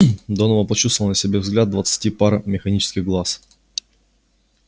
донован почувствовал на себе взгляд двадцати пар механических глаз